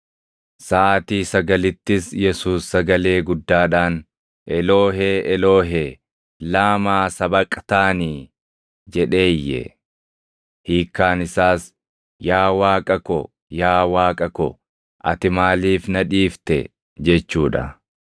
Saʼaatii sagalittis Yesuus sagalee guddaadhaan, \+wj “Eloohee! Eloohee!\+wj* + 15:34 Waraabbileen tokko tokko Eelii, Eelii jedhu. \+wj Laamaa Sabaqtaanii?”\+wj* jedhee iyye. Hiikkaan isaas, “Yaa Waaqa ko! Yaa Waaqa ko! Ati maaliif na dhiifte?” + 15:34 \+xt Far 22:1\+xt* jechuu dha.